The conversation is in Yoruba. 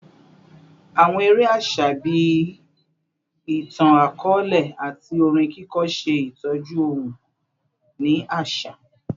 Awọn ere aṣa bii itan-akọọlẹ ati orin kiko ṣe itọju ohun-ini aṣa